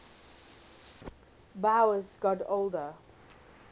boas got older